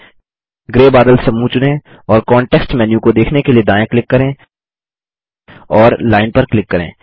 grey बादल समूह चुनें और कॉन्टेक्स्ट मेन्यू को देखने के लिए दायाँ क्लिक करें और लाइन पर क्लिक करें